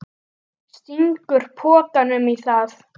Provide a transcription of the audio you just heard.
Stingur pokanum í það.